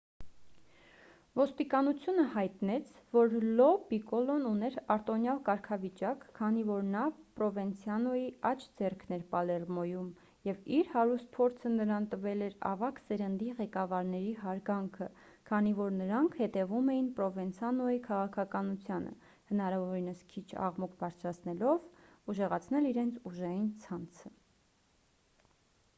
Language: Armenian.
ոստիկանությունը հայտնեց որ լո պիկոլոն ուներ արտոնյալ կարգավիճակ քանի որ նա պրովենցանոյի աջ ձեռքն էր պալերմոյում և իր հարուստ փորձը նրան տվել էր ավագ սերնդի ղեկավարների հարգանքը քանի որ նրանք հետևում էին պրովենցանոյի քաղաքականությանը հնարավորինս քիչ աղմուկ բարձրացնելով ուժեղացնել իրենց ուժային ցանցը